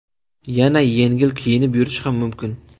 Yana yengil kiyinib yurish ham mumkin.